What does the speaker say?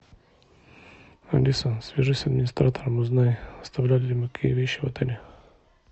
алиса свяжись с администратором узнай оставляли ли мы какие вещи в отеле